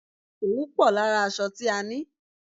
Òwú pò lára aṣọ tí a ni.